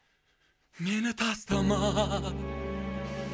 мені тастама